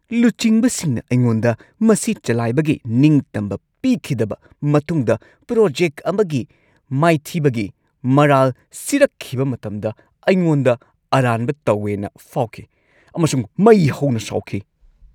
ꯂꯨꯆꯤꯡꯕꯁꯤꯡꯅ ꯑꯩꯉꯣꯟꯗ ꯃꯁꯤ ꯆꯂꯥꯏꯕꯒꯤ ꯅꯤꯡꯇꯝꯕ ꯄꯤꯈꯤꯗꯕ ꯃꯇꯨꯡꯗ ꯄ꯭ꯔꯣꯖꯦꯛ ꯑꯃꯒꯤ ꯃꯥꯏꯊꯤꯕꯒꯤ ꯃꯔꯥꯜ ꯁꯤꯔꯛꯈꯤꯕ ꯃꯇꯝꯗ ꯑꯩꯉꯣꯟꯗ ꯑꯔꯥꯟꯕ ꯇꯧꯋꯦꯅ ꯐꯥꯎꯈꯤ ꯑꯃꯁꯨꯡ ꯃꯩ ꯍꯧꯅ ꯁꯥꯎꯈꯤ꯫